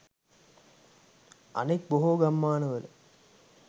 අනෙක් බොහෝ ගම්මාන වල